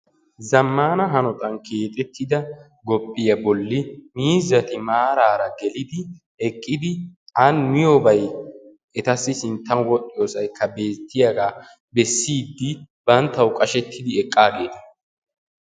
zammana hanottan keexxetidsa gophphiya bolla miizzati maarara gelidi an maarara miyoobay etassi sinttan wodhdhiyoosa bessidi banttaw qashshetidi eqqaageeta.